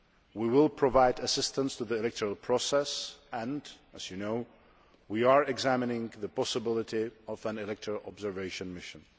We will provide assistance to the electoral process and, as you know, we are examining the possibility of an electoral observation mission.